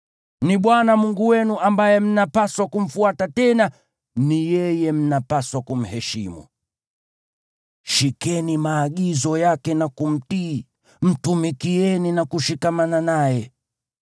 Ni Bwana Mungu wenu ambaye mnapaswa kumfuata tena ni yeye mnapaswa kumheshimu. Shikeni maagizo yake na kumtii, mtumikieni na kushikamana naye.